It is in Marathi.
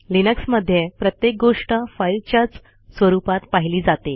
लिनक्स मध्ये प्रत्येक गोष्ट फाईलच्याच स्वरुपात पाहिली जाते